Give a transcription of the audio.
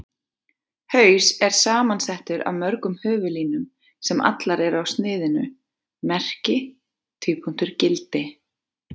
Haus er samansettur af mörgum höfuðlínum, sem allar eru á sniðinu Merki: gildi.